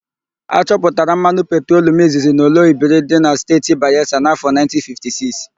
A chọpụtara mmanụ petrolum izizi n'Oloibiri dị na Steeti Bayelsa n'áfọ̀ 1956.